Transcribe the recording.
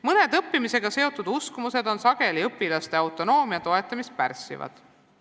Mõned õppimisega seotud uskumused on sageli õpilaste autonoomia toetamist pärssivad.